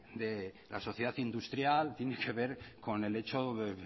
de la sociedad industrial tiene que ver con el hecho